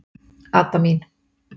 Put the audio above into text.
Adda mín.